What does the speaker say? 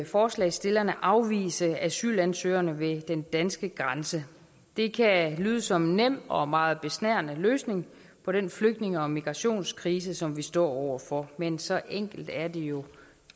forslagsstillerne afvise asylansøgerne ved den danske grænse det kan lyde som en nem og meget besnærende løsning på den flygtninge og migrationskrise som vi står over for men så enkelt er det jo